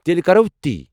تیٚلہِ کرو تی۔